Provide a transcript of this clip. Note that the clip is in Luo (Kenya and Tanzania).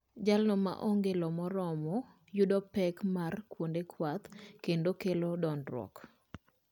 Jalno ma onge lo moromo yudo pek mar kuonde kwath kendo ma kelo dondruok